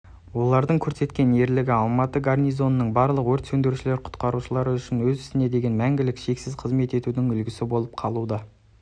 олардың көрсеткен ерлігі алматы гарнизонының барлық өрт сөндірушілер-құтқарушылары үшін өз ісіне деген мәңгілік шексіз қызмет етудің үлгісі болып қалуда